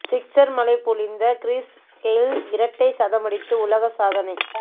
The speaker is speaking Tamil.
சிக்ஸர் மழை பொழிந்த கிறிஸ் கெய்ல் இரட்டை சதமடித்து உலக சாதனை